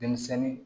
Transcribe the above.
Denmisɛnnin